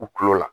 U kulo la